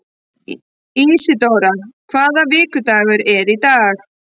Ísidóra, hvaða vikudagur er í dag?